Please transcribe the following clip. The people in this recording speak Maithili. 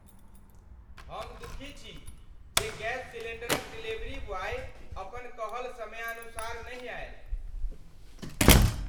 हम दुखीछी जे गैस सिलेंडर क डिलीवरी बॉय अपन कहल समयानुसार नहि आएल।